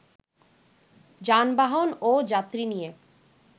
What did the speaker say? যানবাহন ও যাত্রী নিয়ে